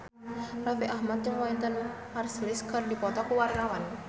Raffi Ahmad jeung Wynton Marsalis keur dipoto ku wartawan